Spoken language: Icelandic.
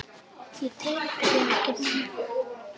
Ég tek þig ekki núna.